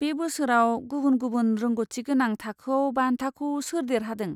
बे बोसोराव गुबुन गुबुन रोंग'थिगोनां थाखोआव बान्थाखौ सोर देरहादों?